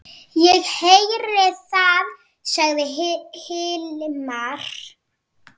Ég heyri það, sagði Hilmar.